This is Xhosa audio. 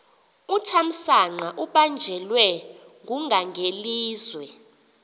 uthamsanqa ubanjelwe ngungangelizwe